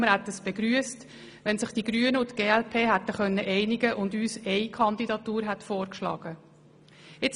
Wir hätten es begrüsst, wenn sich die Grünen und die glp hätten einigen können und sie uns nur eine Kandidatur vorgeschlagen hätten.